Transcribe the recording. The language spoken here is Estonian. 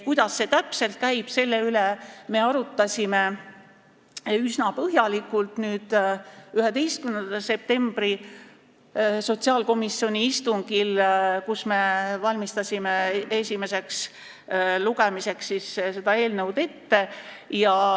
Kuidas see täpselt käib, selle üle me arutlesime üsna põhjalikult sotsiaalkomisjoni 11. septembri istungil, kui me valmistasime seda eelnõu esimeseks lugemiseks ette.